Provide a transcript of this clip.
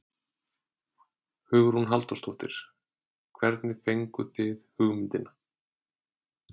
Hugrún Halldórsdóttir: Hvernig fenguð þið hugmyndina?